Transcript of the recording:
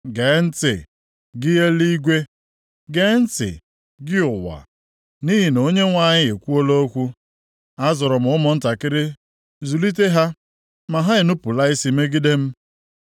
Gee ntị, gị eluigwe, gee ntị, gị ụwa! Nʼihi na Onyenwe anyị ekwuola okwu: “Azụrụ m ụmụntakịrị, zụlite ha, ma ha enupula isi megide m.